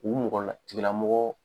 U mɔgɔ la tigila mɔgɔ